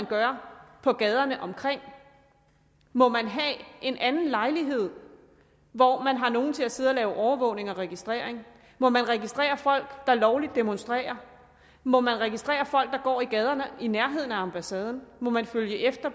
gøre på gaderne omkring må man have en anden lejlighed hvor man har nogle til at sidde og lave overvågning og registrering må man registrere folk der lovligt demonstrerer må man registrere folk der går i gaderne i nærheden af ambassaden må man følge efter